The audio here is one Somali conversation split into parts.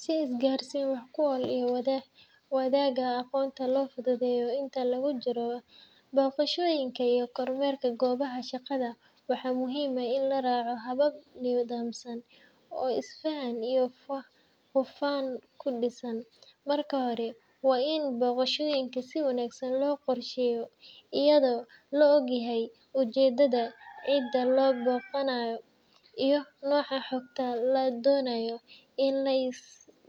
Si isgaarsiin wax-ku-ool ah iyo wadaaga aqoonta loo fududeeyo inta lagu jiro booqashooyinka iyo kormeerka goobaha shaqada, waxaa muhiim ah in la raaco habab nidaamsan oo isfahan iyo hufnaan ku dhisan. Marka hore, waa in booqashooyinka si wanaagsan loo qorsheeyo, iyadoo la og yahay ujeeddada, cidda la booqanayo, iyo nooca xogta la doonayo in la is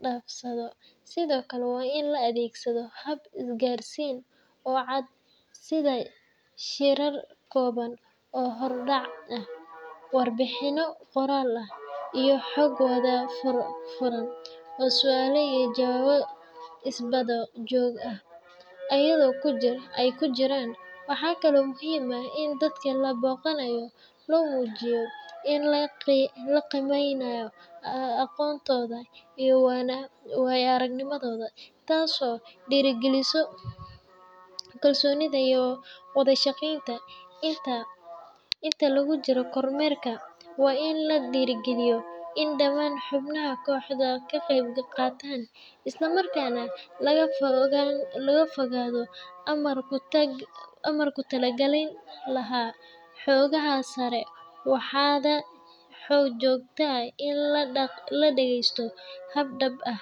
dhaafsado. Sidoo kale, waa in la adeegsadaa hab isgaarsiin oo cad sida shirar kooban oo hordhac ah, warbixinno qoraal ah, iyo xog-wadaag furan oo su’aalo iyo jawaabo is-daba-joog ah ay ku jiraan. Waxaa kale oo muhiim ah in dadka la booqanayo loo muujiyo in la qiimeynayo aqoontooda iyo waayo-aragnimadooda, taas oo dhiirrigelisa kalsoonida iyo wada-shaqeynta. Inta lagu jiro kormeerka, waa in la dhiirrigeliyaa in dhammaan xubnaha kooxdu ka qayb qaataan, isla markaana laga fogaado amar ku taaglayn, lana xoogga saaraa wada-xaajood iyo dhageysto hab dhab ah.